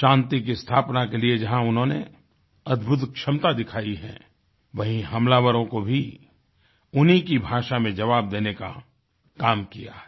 शांति की स्थापना के लिए जहाँ उन्होंने अद्भुत क्षमता दिखायी है वहीँ हमलावरों को भी उन्हीं की भाषा में जबाव देने का काम किया है